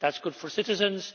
That is good for citizens.